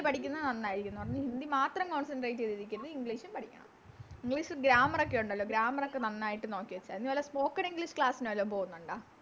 പഠിക്കുന്നെ നന്നായിരിക്കും ന്ന് പറഞ്ഞ് ഹിന്ദി മാത്രം Concentrate ചെയ്ത ഇരിക്കരുത് English ഉം പഠിക്കണം English grammar ഒക്കെ ഒണ്ടല്ലോ Grammar ഒക്കെ നന്നായിട്ട് നോക്കി വെച്ച മതി നീ വല്ല Spoken english class നു വല്ലോം പോവുന്നോണ്ട